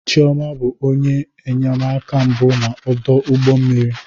Chioma bụ onye enyemaka mbụ na ọdụ ụgbọ mmiri.